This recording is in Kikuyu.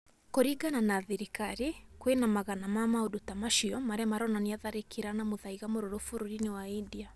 Kũrĩngana na thirikari kwĩna magana ma maũndũ ta macio marĩa maronania tharĩkĩra na mũthaiga mũrũrũ bũrũrĩ-inĩ wa India